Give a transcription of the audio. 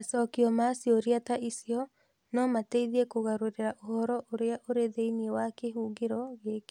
Macokio ma ciũria ta icio no mateithie kũgarũrĩra ũhoro ũrĩa ũrĩ thĩinĩ wa kĩhũngĩro gĩkĩ.